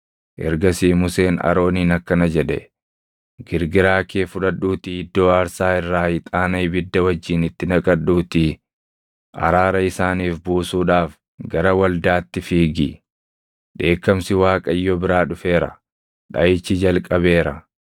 Ergasii Museen Arooniin akkana jedhe; “Girgiraa kee fudhadhuutii iddoo aarsaa irraa ixaana ibidda wajjin itti naqadhuutii araara isaaniif buusuudhaaf gara waldaatti fiigi. Dheekkamsi Waaqayyo biraa dhufeera; dhaʼichi jalqabeera.”